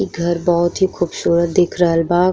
इ घर बहोत ही खूबसूरत दिख रहल बा।